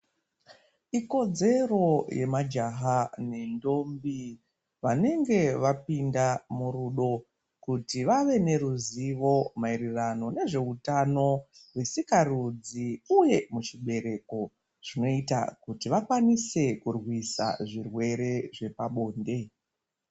Ikodzero yemajaha nentombi vanenge vapinda murudo kuti vave neruzivo maererano nezveutano zvesikarudzi uye muchibereko zvinoita kuti vakwanise kurwisa zvirwere zvepabonde.